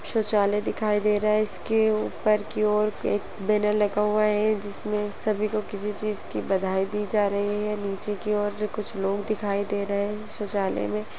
शौचालय दिखाई दे रहा है इसके ऊपर की ओर एक बैनर लगा हुआ है जिसमें सभी को किसी चीज की बधाई दी जा रही है नीचे की ओर कुछ लोग दिखाई दे रहे है शौचालय में--